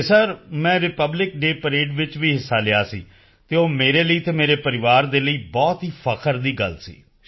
ਅਤੇ ਸਰ ਮੈਂ republic day parade ਵਿੱਚ ਵੀ ਹਿੱਸਾ ਲਿਆ ਸੀ ਅਤੇ ਉਹ ਮੇਰੇ ਲਈ ਤੇ ਮੇਰੇ ਪਰਿਵਾਰ ਦੇ ਲਈ ਬਹੁਤ ਹੀ ਫ਼ਖਰ ਦੀ ਗੱਲ ਸੀ